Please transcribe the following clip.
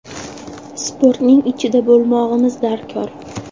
Sportning ichida bo‘lmog‘imiz darkor.